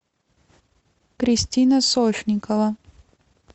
кристина сошникова